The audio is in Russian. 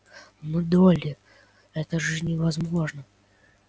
но долли это же невозможно